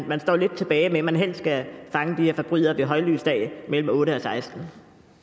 man står lidt tilbage med at man helst skal fange de her forbrydere ved højlys dag mellem klokken otte og 16